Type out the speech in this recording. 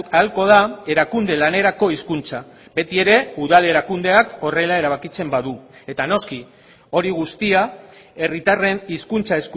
ahalko da erakunde lanerako hizkuntza beti ere udal erakundeak horrela erabakitzen badu eta noski hori guztia herritarren hizkuntza